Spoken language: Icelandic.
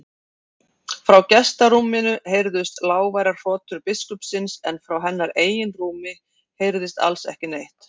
Frá gestarúminu heyrðust lágværar hrotur biskupsins en frá hennar eigin rúmi heyrðist alls ekki neitt.